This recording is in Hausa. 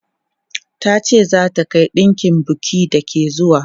Ta ce za ta kai ɗinkin bukin da ke zuwa.